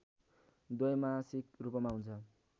द्वैमासिक रूपमा हुन्छ